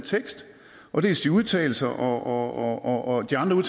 dels de udtalelser og de andre